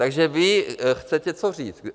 Takže vy chcete co říct?